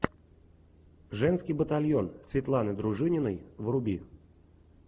женский батальон светланы дружининой вруби